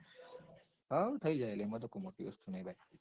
હાઓ થઇ જોય એમાં તો કઈ મોટું વસ્તુ નાઈ ભાઈ